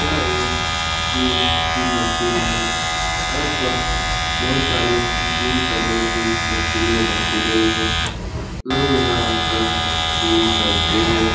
यह एक जिम की मशीन है। यहाँ पर बोहोत सारे जिम करने की मशीने रखी गयी हैं। लोग यहाँ आ कर जिम करते हैं।